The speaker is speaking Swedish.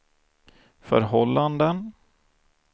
förhållanden